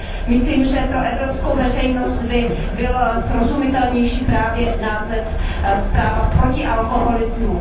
Myslím, že pro evropskou veřejnost by byl srozumitelnější právě název Zpráva o alkoholismu.